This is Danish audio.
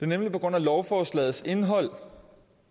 nemlig på grund af lovforslagets indhold